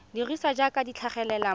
dirisiwa jaaka di tlhagelela mo